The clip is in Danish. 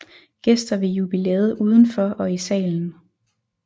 Gæster ved jubilæet udenfor og i salen